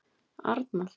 Arnald